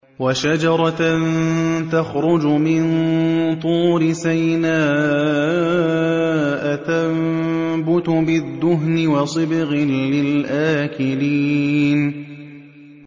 وَشَجَرَةً تَخْرُجُ مِن طُورِ سَيْنَاءَ تَنبُتُ بِالدُّهْنِ وَصِبْغٍ لِّلْآكِلِينَ